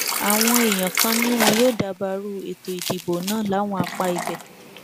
àwọn èèyàn kan ni wọn yóò dabarú ètò ìdìbò náà láwọn apá ibẹ